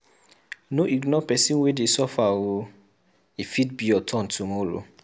No ignore pesin wey dey suffer o, e fit be your turn tomorrow.